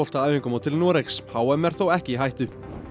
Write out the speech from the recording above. á æfingamót til Noregs h m er þó ekki í hættu